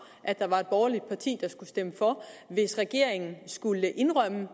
at der var et borgerligt parti der skulle stemme for hvis regeringen skulle indrømme